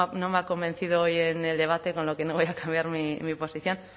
no me ha convencido hoy en el debate con lo que no voy a cambiar mi posición